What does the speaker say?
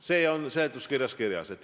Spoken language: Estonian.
See on seletuskirjas kirjas.